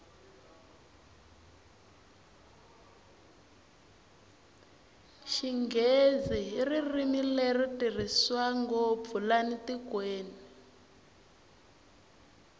xinghezi hi ririmi leri tirhiswa ngopfu lana tikweni